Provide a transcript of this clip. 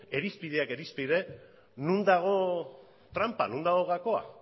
irizpideak irizpide non dago tranpa non dago gakoa